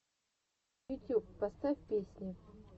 ютюб поставь песни